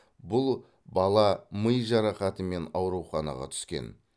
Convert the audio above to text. бұл бала ми жарақатымен ауруханаға түскен